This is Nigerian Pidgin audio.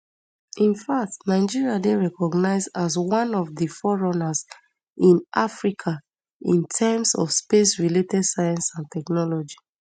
in fact nigeria dey recognised as one of di fore runners in africa in terms of spacerelated science and technology